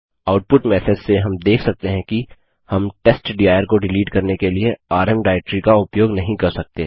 output message से हम देख सकते हैं कि हम टेस्टडिर को डिलीट करने के लिए आरएम डाइरेक्टरी का उपयोग नहीं कर सकते